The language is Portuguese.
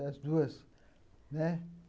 As duas, né?